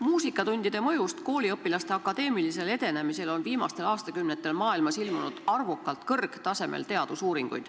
Muusikatundide mõjust kooliõpilaste akadeemilisele edenemisele on viimastel aastakümnetel maailmas ilmunud arvukalt kõrgtasemel teadusuurimusi.